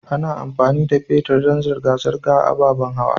Ana amfani da fetir dan zirga-zirgar ababan hawa.